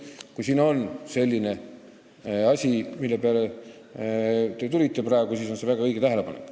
Kui siin on selline asi, mille peale te praegu tulite, siis on see väga õige tähelepanek.